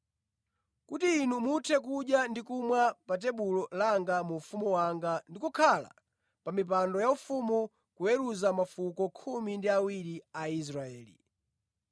kuti inu muthe kudya ndi kumwa pa tebulo langa mu ufumu wanga ndi kukhala pa mipando yaufumu kuweruza mafuko khumi ndi awiri a Israeli.”